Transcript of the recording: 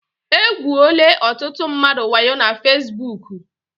E gwuole ọtụtụ mmadụ waayo na fasibuuku.